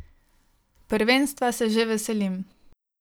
Prvenstva se že veselim.